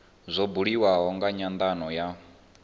zwa buliwa nga nyandano ya